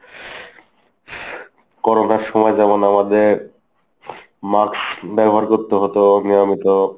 করোনার সময় যেমন আমাদের mask ব্যবহার করতে হতো নিয়মিত।